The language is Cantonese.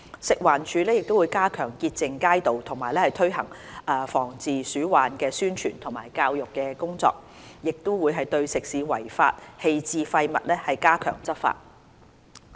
食環署會加強潔淨街道，推行防治鼠患的宣傳及教育工作，並會對食肆違法棄置廢物加強執法。